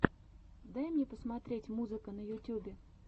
дай мне посмотреть музыка на ютьюбе